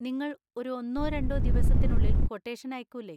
നിങ്ങൾ ഒരു ഒന്നോ രണ്ടോ ദിവസത്തിനുള്ളിൽ ക്വട്ടേഷൻ അയക്കൂലെ?